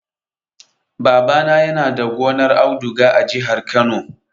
Babana yana da gonar auduga a jihar Kano.